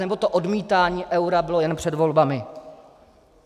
Anebo to odmítání eura bylo jen před volbami?